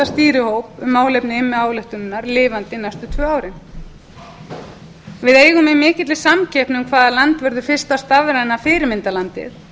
stýrihóp um málefni immi ályktunarinnar lifandi næstu tvö árin við eigum í mikilli samkeppni um hvaða land verður fyrsta stafræna fyrirmyndarlandið